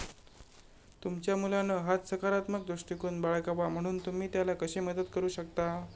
तुमच्या मुलानं हाच सकारात्मक दृष्टिकोन बाळगावा म्हणून तुम्ही त्याला कशी मदत करू शकता?